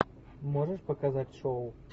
можешь показать шоу